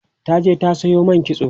ta je ta Sayo man kitso